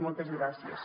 moltes gràcies